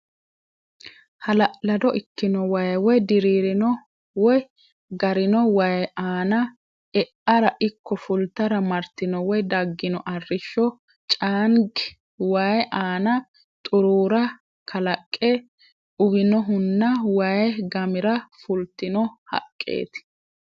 Hala'lado ikkino waay woy diriirino woy garino waay aana e'ara ikko fultara martino woy daggino arrishsho caangi waay aana xuruura kalaqe uwinohunna waay gamira fultino haqqeeeti.